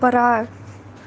пора